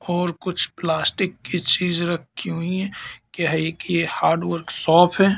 और कुछ प्लास्टिक की चीज रखी हुई है। क्या है? कि ये हार्ड वर्कशॉप है।